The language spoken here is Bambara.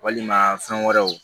Walima fɛn wɛrɛw